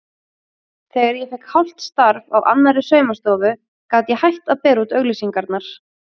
Þegar ég fékk hálft starf á annarri saumastofu gat ég hætt að bera út auglýsingarnar.